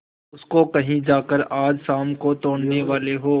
उसको कहीं जाकर आज शाम को तोड़ने वाले हों